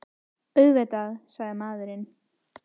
Auðvitað, sagði maðurinn.